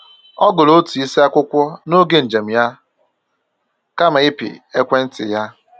Ọ gụrụ otu isi akwụkwọ n’oge njem ya kama ịpị ekwentị ya